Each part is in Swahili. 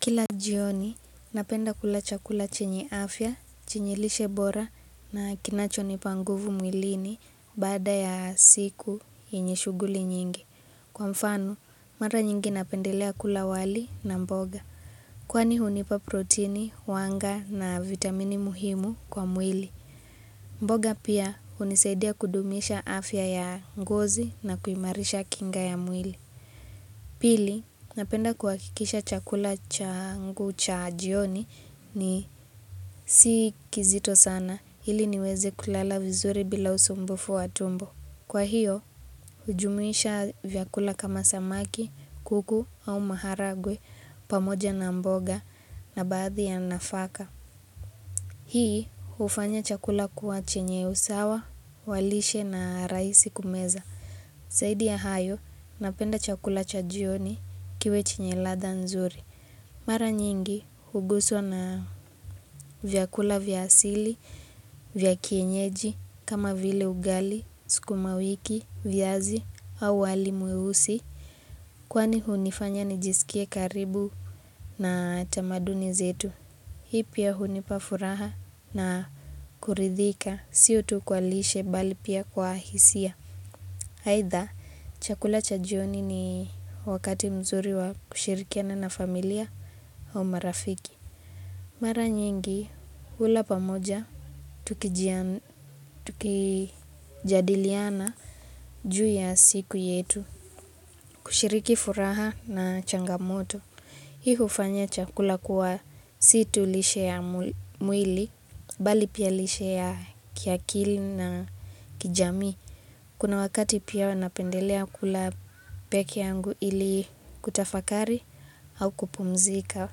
Kila jioni, napenda kula chakula chenye afya, chenye lishe bora na kinacho nipa nguvu mwilini baada ya siku yenye shughuli nyingi. Kwa mfano, mara nyingi napendelea kula wali na mboga. Kwani hunipa protini, wanga na vitamini muhimu kwa mwili. Mboga pia, hunisaidia kudumisha afya ya ngozi na kuimarisha kinga ya mwili. Pili, napenda kuhakikisha chakula changu cha jioni ni si kizito sana ili niweze kulala vizuri bila usumbufu wa tumbo. Kwa hiyo, hujumuisha vyakula kama samaki, kuku au maharagwe pamoja na mboga na baadhi ya nafaka. Hii, hufanya chakula kuwa chenye usawa, wa lishe na rahisi kumeza. Zaidi ya hayo, napenda chakula cha jioni kiwe chenye ladha nzuri. Mara nyingi, huguswa na vyakula vya asili, vya kienyeji, kama vile ugali, sukuma wiki, viazi, au wali mweusi. Kwani hunifanya nijisikie karibu na tamaduni zetu. Hii pia hunipa furaha na kuridhika. Sio tu kwa lishe bali pia kwa hisia. Aitha, chakula cha jioni ni wakati mzuri wa kushirikiana na familia au marafiki. Mara nyingi, hula pamoja, tukijadiliana juu ya siku yetu. Kushiriki furaha na changamoto. Hii hufanya chakula kuwa si tu lishe ya mwili, bali pia lishe ya kiakili na kijamii. Kuna wakati pia napendelea kula pekee yangu ili kutafakari au kupumzika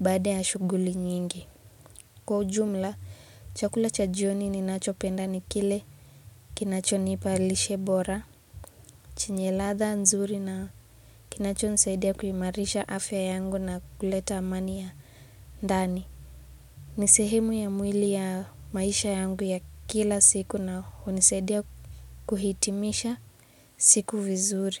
baada ya shughuli nyingi. Kwa ujumla, chakula cha jioni ninacho penda ni kile, kinachonipa lishe bora, chenye ladha nzuri na kinacho nisaidia kuimarisha afya yangu na kuleta amani ya ndani. Ni sehemu ya mwili ya maisha yangu ya kila siku na hunisaidia kuhitimisha siku vizuri.